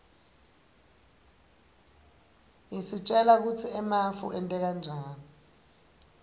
isitjela kutsi emafu enteka njani